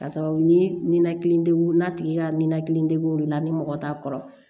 Ka sababu ye ninakili dege n'a tigi ka ninakili degun de la ni mɔgɔ t'a kɔrɔ